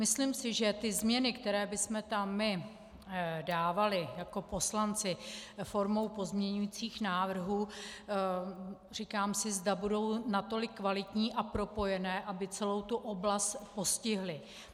Myslím si, že ty změny, které bychom tam my dávali jako poslanci formou pozměňujících návrhů, říkám si, zda budou natolik kvalitní a propojené, aby celou tu oblast postihly.